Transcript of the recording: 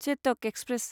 Chetak express